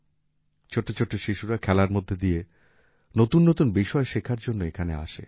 ছোট্ট ছোট্ট শিশুরা খেলার মধ্যে দিয়ে নতুন নতুন বিষয় শেখার জন্য এখানে আসে